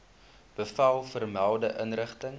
bevel vermelde inrigting